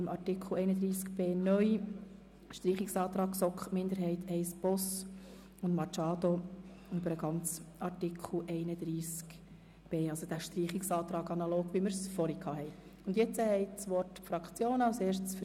Zu Artikel 31b (neu) liegen noch der Streichungsantrag der GSoK-Minderheit I/ Boss und der Streichungsantrag Machado betreffend den ganzen Artikel 31b vor.